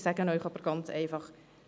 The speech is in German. Ich sage Ihnen aber ganz einfach: